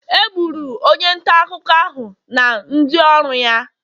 Egburu onye nta akụkọ ahụ na ndị ọrụ ya.